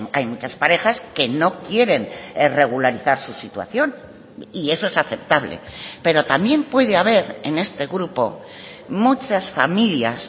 hay muchas parejas que no quieren regularizar su situación y eso es aceptable pero también puede haber en este grupo muchas familias